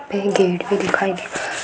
main gate भी दिखाई दे रहा --